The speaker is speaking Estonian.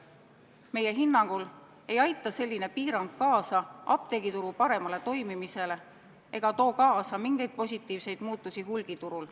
Meie hinnangul ei aita selline piirang kaasa apteegituru paremale toimimisele ega too kaasa mingeid positiivseid muutusi hulgiturul.